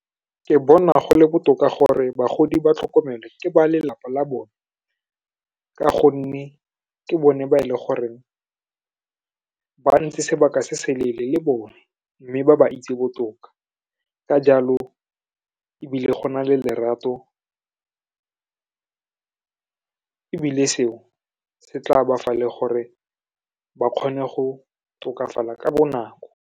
Ke bona go le botoka gore bagodi ba tlhokomelwa ke ba lelapa la bone ka gonne, ke bone ba e le goreng ba ntse sebaka se seleele le bone, mme ba ba itse botoka. Ka jalo, ebile go na le lerato, ebile seo se tla ba fa le gore ba kgone go tokafala ka bonako.